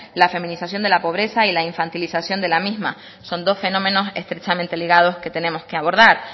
la feminización de la pobreza y la infantilización de la misma son dos fenómenos estrechamente ligados que tenemos que abordar